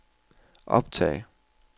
optag